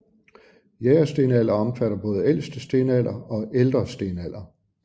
Jægerstenalder omfatter både ældste stenalder og ældre stenalder